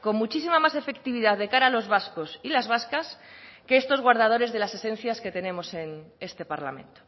con muchísima más efectividad de cara a los vascos y las vascas que estos guardadores de las esencias que tenemos en este parlamento